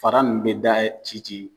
Fara nunnu be da, ci ci.